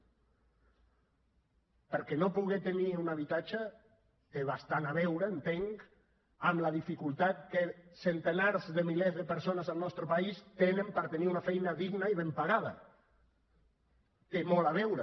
perquè no poder tenir un habitatge té bastant a veure entenc amb la dificultat que centenars de milers de persones al nostre país tenen per tenir una feina digna i ben pagada hi té molt a veure